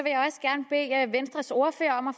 er at venstres ordfører om at